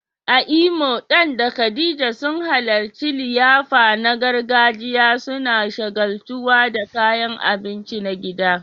A Imo, Dan da Khadija sun halarci liyafa na gargajiya, suna shagaltuwa da kayan abinci na gida.